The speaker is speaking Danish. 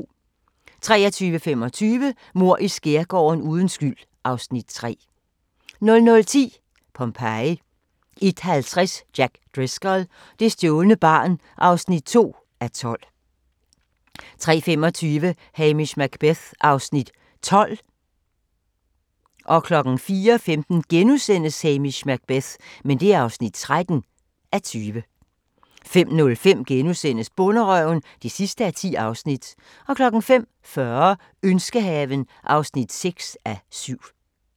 23:25: Mord i skærgården: Uden skyld (Afs. 3) 00:10: Pompeji 01:50: Jack Driscoll – det stjålne barn (2:12) 03:25: Hamish Macbeth (12:20) 04:15: Hamish Macbeth (13:20)* 05:05: Bonderøven (10:10)* 05:40: Ønskehaven (6:7)